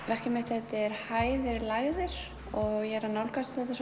verkið mitt heitir hæðir og lægðir og ég er að nálgast þetta